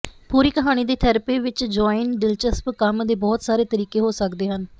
ਪਰੀ ਕਹਾਣੀ ਦੀ ਥੈਰੇਪੀ ਵਿੱਚ ਜੁਆਇਨ ਦਿਲਚਸਪ ਕੰਮ ਦੇ ਬਹੁਤ ਸਾਰੇ ਤਰੀਕੇ ਹੋ ਸਕਦੇ ਹਨ